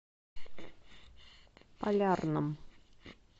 полярном